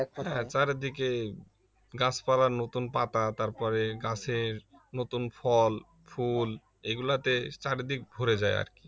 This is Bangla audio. হ্যাঁ চারদিকে গাছপালার নতুন পাতা তারপরে গাছের নতুন ফল ফুল এগুলাতে চারদিক ভরে যায় আর কি